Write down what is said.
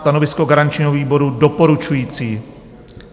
Stanovisko garančního výboru: doporučující.